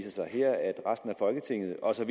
også at